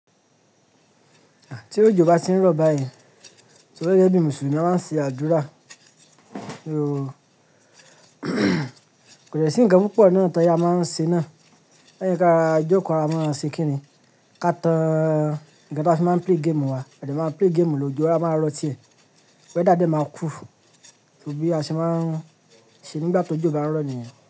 Tí ojò bá ti ń rọ̀ báyìí, torí gẹ́gẹ́ bí Mùsùlùmí a máa ń ṣe àdúrà. Kò de sí ǹkan púpọ̀ náà tán tí a máa ń ṣe náà. Lẹ́yìn ká rora joko ka a máa ń ṣe kíni, ká tán ǹkan tí a fi máa ń play game wa, a de máa ń play game ló, ojo a máa rọ́ tì e, weather dẹ́ máa cool, torí a sì máa ń ṣe nígbà tó jọ̀ bá ń rọ̀ nìyẹn.